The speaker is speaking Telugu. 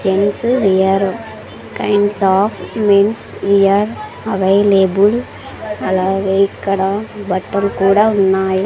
Gents wear kinds of men's wear available అలాగే ఇక్కడ బట్టలు కూడా ఉన్నాయి.